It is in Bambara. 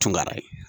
Tungara ye